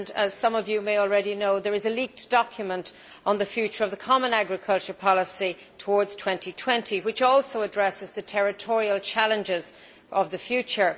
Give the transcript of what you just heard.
As some of you may already know, there is a leaked document on the future of the common agricultural policy towards 2020, which also addresses the territorial challenges of the future.